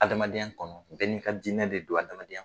Adamadenya kɔnɔ bɛɛ n'i ka diinɛ de don a adamadenya kɔnɔ